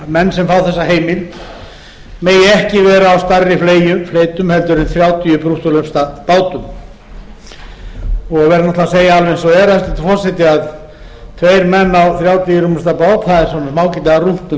menn sem fá þessa heimild megi ekki vera á stærri fleytum heldur en þrjátíu brúttólesta bátum og verður að segja alveg eins og er hæstvirtur forseti að það er ágætlega rúmt um tvo menn á þrjátíu rúmlesta bát það